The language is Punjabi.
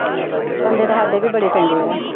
ਬੰਦੇ ਤਾਂ ਸਾਡੇ ਵੀ ਬੜੇ ਚੰਗੇ ਆ।